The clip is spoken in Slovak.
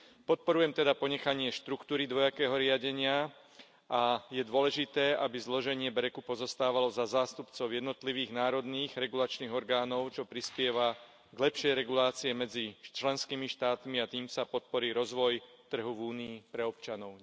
Podporujem teda ponechanie štruktúry dvojakého riadenia a je dôležité, aby zloženie BEREC u pozostávalo zo zástupcov jednotlivých národných regulačných orgánov, čo prispieva k lepšej regulácii medzi členskými štátmi, a tým sa podporí rozvoj trhu v Únii pre občanov.